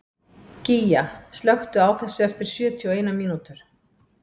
Gígja, slökktu á þessu eftir sjötíu og eina mínútur.